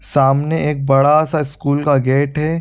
सामने एक बड़ा-सा स्कूल का गेट है।